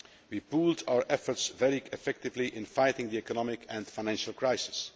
We pooled our efforts very effectively in fighting the economic and financial crisis